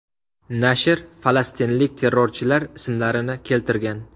Nashr falastinlik terrorchilar ismlarini keltirgan.